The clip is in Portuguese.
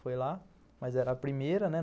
Fui lá, mas era a primeira, né?